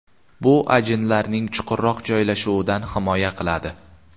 Bu ajinlarning chuqurroq joylashuvidan himoya qiladi.